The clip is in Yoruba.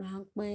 ránpẹ́.